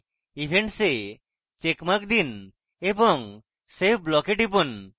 events a checkmark দিন এবং save block টিপুন